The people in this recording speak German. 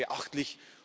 Das ist beachtlich.